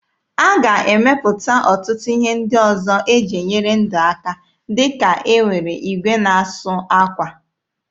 A ga-emepụta ọtụtụ ihe ndị ọzọ eji enyere ndụ aka dịka e nwere igwe na-asụ akwa.